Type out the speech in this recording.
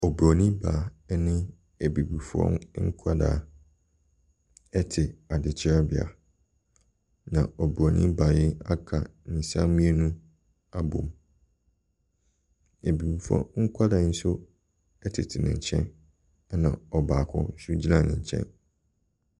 Ɔbronin baa ɛne abibifoɔ nkwadaa ɛte adekyerɛ bea, na ɔbronin baa yi aka ne nsa mmienu abɔm, abibifoɔ nkwadaa nso ɛtete ne nkyɛn, ɛna ɔbaako so gyina ne nkyɛn.